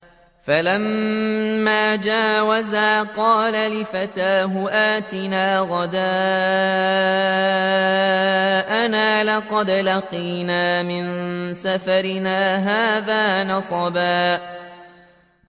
فَلَمَّا جَاوَزَا قَالَ لِفَتَاهُ آتِنَا غَدَاءَنَا لَقَدْ لَقِينَا مِن سَفَرِنَا هَٰذَا نَصَبًا